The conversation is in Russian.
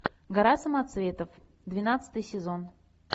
гора самоцветов двенадцатый сезон